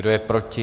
Kdo je proti?